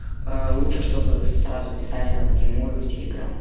лучше чтобы сразу писали на прямую в телеграмм